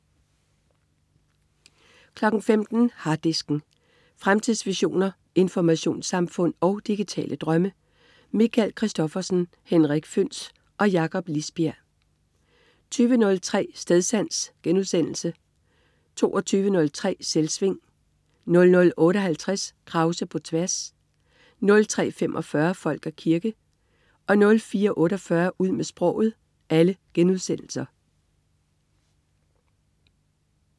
15.00 Harddisken. Fremtidsvisioner, informationssamfund og digitale drømme. Michael Christophersen, Henrik Føhns og Jakob Lisbjerg 20.03 Stedsans* 22.03 Selvsving* 00.58 Krause på tværs* 03.45 Folk og kirke* 04.48 Ud med sproget*